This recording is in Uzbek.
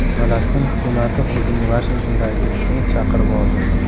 Falastin hukumati o‘zining Vashingtondagi elchisini chaqirib oldi.